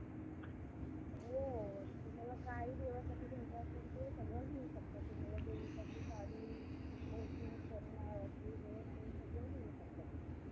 प्रत्येक देशाने lockdown केलं. Lockdown केल्याने सगले~ सगळे लोकं आपल्या घरात राहायला लागले. आपल्या घरात राहून ते सगळे कामं करायला लागले.